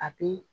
A bi